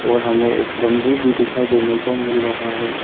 हमें एक बंबू भी दिखाई देने को मिल रहा है।